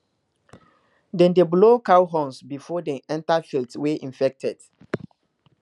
dem dey blow cow horns before dem enter fields wey infected